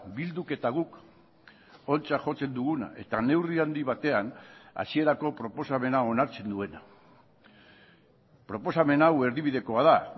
bilduk eta guk ontzat jotzen duguna eta neurri handi batean hasierako proposamena onartzen duena proposamen hau erdibidekoa da